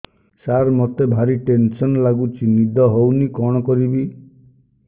ସାର ମତେ ଭାରି ଟେନ୍ସନ୍ ଲାଗୁଚି ନିଦ ହଉନି କଣ କରିବି